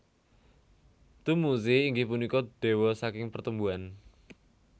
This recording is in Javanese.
Dummuzi inggih punika dewa saking pertumbuhan